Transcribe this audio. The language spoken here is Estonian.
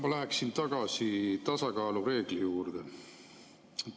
Ma läheksin tagasi tasakaalureegli juurde.